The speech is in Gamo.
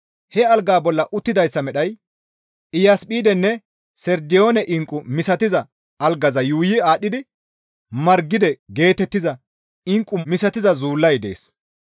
He algaa bolla uttidayssa medhay iyasphidenne sardiyoone inqqu misatiza algaza yuuyi aadhdhidi Margide geetettiza inqqu misatiza zuullay dees.